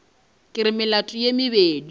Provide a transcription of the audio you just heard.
ke re melato ye mebedi